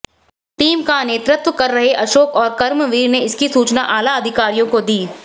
team का नेतृत्व कर रहे अशोक और कर्मवीर ने इसकी सूचना आला अधिकारियों को दी